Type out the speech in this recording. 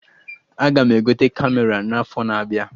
Aga m egote Kamera n'afọ na-abịa